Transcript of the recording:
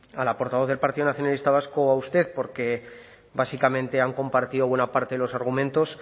a la portavoz del partido nacionalista vasco o a usted porque básicamente han compartido buena parte de los argumentos